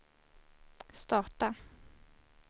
starta